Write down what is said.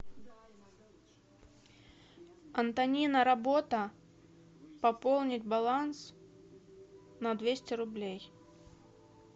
антонина работа пополнить баланс на двести рублей